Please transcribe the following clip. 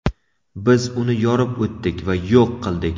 Biz uni yorib o‘tdik va yo‘q qildik.